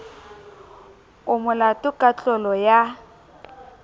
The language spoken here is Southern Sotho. o molato ka tlolo ya